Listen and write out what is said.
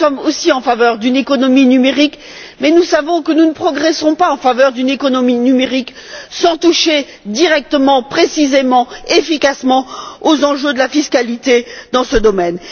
Si nous sommes aussi en faveur d'une économie numérique, nous savons que nous ne progresserons pas en faveur d'une telle économie sans toucher directement, précisément, efficacement, aux enjeux de la fiscalité dans ce domaine.